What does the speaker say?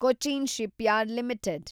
Cochin shipyard limited